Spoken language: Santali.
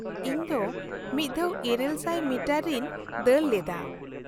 -ᱤᱧ ᱫᱚ ᱢᱤᱫ ᱫᱷᱟᱣ ᱘᱐᱐ ᱢᱤᱴᱟᱨ ᱨᱤᱧ ᱫᱟᱹᱲ ᱞᱮᱫᱟ ᱾